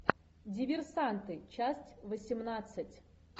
диверсанты часть восемнадцать